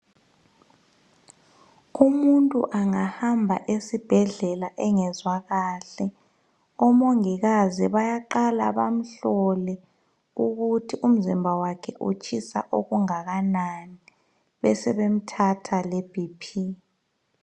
umuntu angahamba esibhedlela engezwa kahle omongikazi bayaqala bamhlole ukuthi umzimba wakhe utshisa okungakanani besemthatha le BP